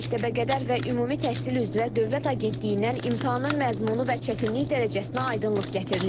Məktəbəqədər və Ümumi Təhsil üzrə Dövlət Agentliyindən imtahanın məzmunu və çətinlik dərəcəsinə aydınlıq gətirilib.